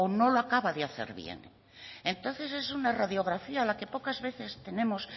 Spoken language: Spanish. no lo acaba de hacer bien entonces es una radiografía que a la que pocas veces tenemos